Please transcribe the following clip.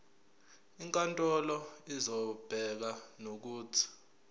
inkantolo izobeka nokuthi